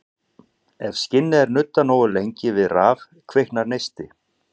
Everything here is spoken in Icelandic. Ef skinni er nuddað nógu lengi við raf kviknar neisti.